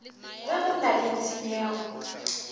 ge go na le tshenyego